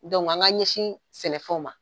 Dɔnku an k'a ɲɛsin sɛnɛfɛnw ma.